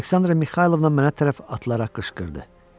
Aleksandra Mixaylovna mənə tərəf atılaraq qışqırdı.